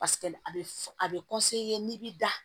Paseke a bɛ fɔ a bɛ n'i b'i da